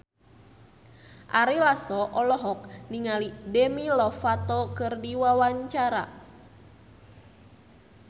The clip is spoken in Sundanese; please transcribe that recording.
Ari Lasso olohok ningali Demi Lovato keur diwawancara